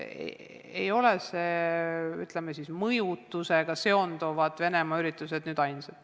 Ei ole, ütleme, mõjutusega seonduvad Venemaa üritused üldse ainsad.